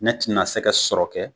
Ne tɛna se ka sɔrɔ kɛ